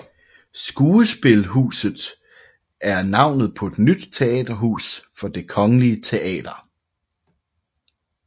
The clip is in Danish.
Skuespilhuset er navnet på et nyt teaterhus for Det kongelige Teater